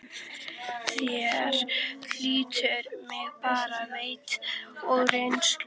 Hér þrýtur mig bara vit og reynslu.